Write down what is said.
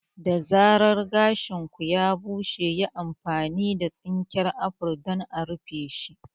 Da zarar gashin ku ya bushe, yi amfani da tsinken afro don a rufeshi.